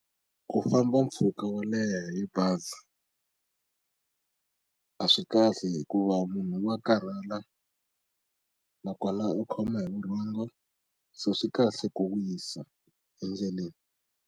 Ku famba mpfhuka wo leha hi bazi a swi kahle hikuva munhu wa karhala na kona u khoma hi vurhongo so swi kahle ku wisa endleleni.